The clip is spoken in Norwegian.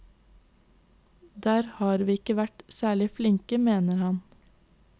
Der har vi ikke vært særlig flinke, mener han.